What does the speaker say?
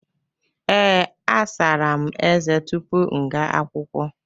Ee, asara m eze tupu m ga akwụkwọ.